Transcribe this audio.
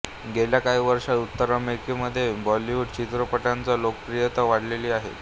गेल्या काही वर्षांत उत्तर अमेरिकेमध्ये बॉलिवूड चित्रपटांच लोकप्रियता वाढलेली आहे